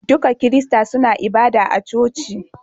Duka kirista suna ibada a coci